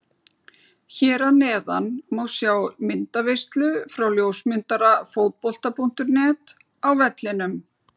Hér að neðan má sjá myndaveislu frá ljósmyndara Fótbolta.net á vellinum.